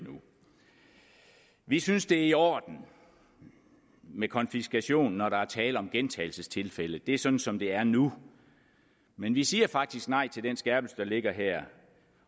vi synes at det er i orden med konfiskation når der er tale om gentagelsestilfælde det er sådan som det er nu men vi siger faktisk nej til den skærpelse der ligger her